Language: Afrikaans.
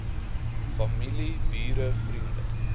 familie bure vriende